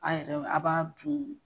A yɛrɛw a b'a dun